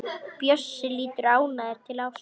Bjössi lítur ánægður til Ásu.